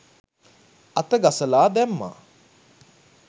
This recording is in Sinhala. අත ගසලා දැම්මා